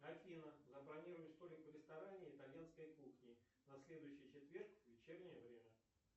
афина забронируй столик в ресторане итальянской кухни на следующий четверг в вечернее время